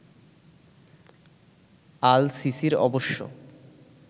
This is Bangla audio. আল সিসির অবশ্য